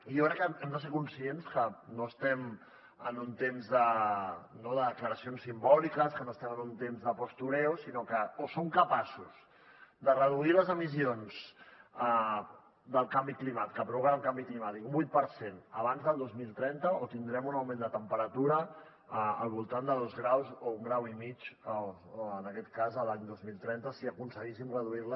jo crec que hem de ser conscients que no estem en un temps de declaracions simbòliques que no estem en un temps de postureo sinó que o som capaços de reduir les emissions que provoquen el canvi climàtic un vuit per cent abans del dos mil trenta o tindrem un augment de temperatura al voltant de dos graus o un grau i mig en aquest cas l’any dos mil trenta si aconseguíssim reduir les